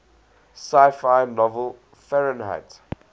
sci fi novel fahrenheit